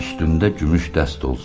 Üstümdə gümüş dəst olsun.